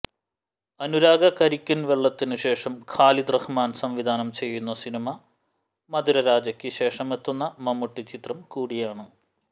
അനുരാഗ കരിക്കിന് വെളളത്തിനു ശേഷം ഖാലിദ് റഹ്മാന് സംവിധാനം ചെയ്യുന്ന സിനിമ മധുരരാജയ്ക്ക് ശേഷമെത്തുന്ന മമ്മൂട്ടി ചിത്രം കൂടിയാണ്